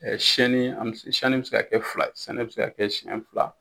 Sɛnni an bɛ sɛnni bɛ se ka kɛ fila sɛnɛ bɛ se ka kɛ sɛn fila.